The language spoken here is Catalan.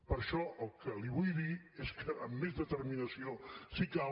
per això el que li vull dir és que amb més determinació si cal